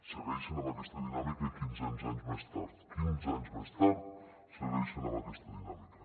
segueixen amb aquesta dinàmica quinze anys més tard quinze anys més tard segueixen amb aquesta dinàmica